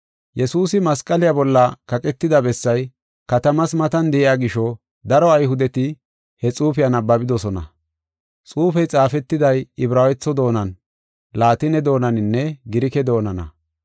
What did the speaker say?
Yesuusi masqaliya bolla kaqetida bessay katamas matan de7iya gisho, daro Ayhudeti he xuufiya nabbabidosona. Xuufey xaafetiday Ibraawetho doonan, Laatine doonaninne Girike doonana.